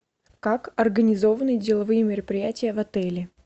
как организованны деловые мероприятия в отеле